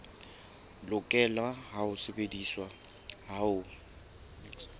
lokela ho sebediswa ha ho